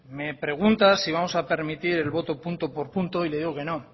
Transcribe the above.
me pregunta si vamos a permitir el voto punto por punto y le digo que no